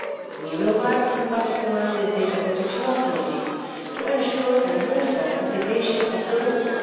We will work in particular with data protection authorities to ensure a uniform application of the rules.